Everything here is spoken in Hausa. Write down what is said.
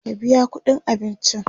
ka biya ƙuɗin abincin!